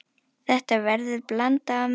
Þetta verður blanda af mörgu.